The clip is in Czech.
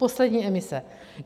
Poslední emise.